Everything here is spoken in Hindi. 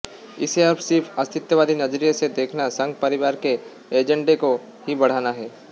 इसे अब सिर्फ अस्मितावादी नजरिए से देखना संघ परिवार के एजेंडे को ही बढ़ाना है